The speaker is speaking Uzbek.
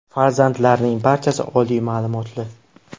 Farzandlarining barchasi oliy ma’lumotli.